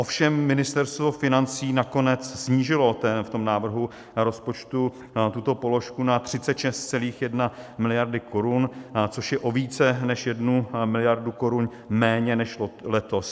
Ovšem Ministerstvo financí nakonec snížilo v návrhu rozpočtu tuto položku na 36,1 miliardy korun, což je o více než jednu miliardu korun méně než letos.